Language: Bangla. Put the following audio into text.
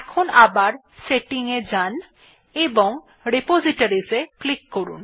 এখন আবার Setting এ যান এবং Repositories এ ক্লিক করুন